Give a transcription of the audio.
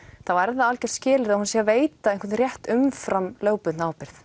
þá er það algjört skilyrði að hún sé að veita einhvern rétt umfram lögbundna ábyrgð